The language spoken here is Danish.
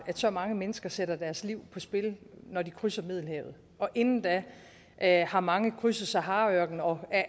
at så mange mennesker sætter deres liv på spil når de krydser middelhavet og inden da da har mange krydset saharaørkenen og er